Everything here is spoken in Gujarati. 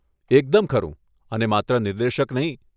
એકદમ ખરું, અને માત્ર નિર્દેશક નહીં.